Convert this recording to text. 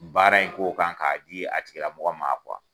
baara in k'o kan k'a di a tigilamɔgɔ ma